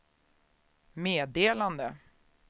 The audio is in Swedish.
meddelade